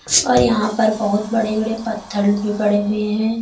और यहां पर बहोत बड़े बड़े पत्थल भी पड़े हुए है।